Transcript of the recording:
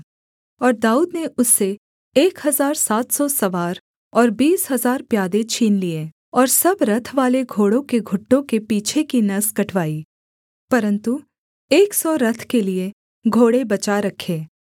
और दाऊद ने उससे एक हजार सात सौ सवार और बीस हजार प्यादे छीन लिए और सब रथवाले घोड़ों के घुटनों के पीछे की नस कटवाई परन्तु एक सौ रथ के लिये घोड़े बचा रखे